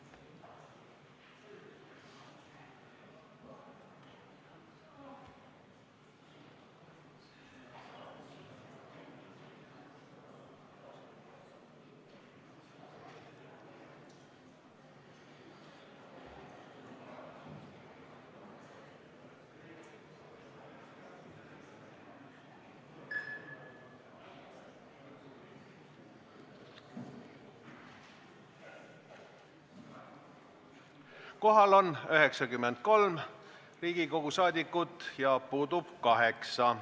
Kohaloleku kontroll Kohal on 93 Riigikogu liiget, puudub 8.